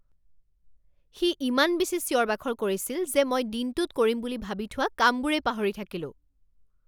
সি ইমান বেছি চিঞৰ বাখৰ কৰিছিল যে মই দিনটোত কৰিম বুলি ভাবি থোৱা কামবোৰেই পাহৰি থাকিলোঁ